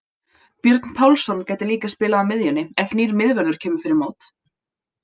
Björn Pálsson gæti líka spilað á miðjunni ef nýr miðvörður kemur fyrir mót.